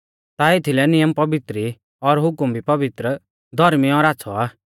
ता एथीलै नियम पवित्र ई और हुकम भी पवित्र धौर्मी और आच़्छ़ौ आ